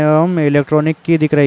एवं इलेक्ट्रॉनिक की दिख रही --